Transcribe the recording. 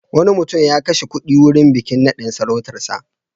Wani mutum ya kashe kuɗi wurin bikin naɗin sarautarsa.